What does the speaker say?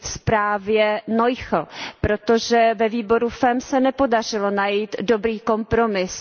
zprávě MarieNoichlové, protože ve výboru FEMM se nepodařilo najít dobrý kompromis.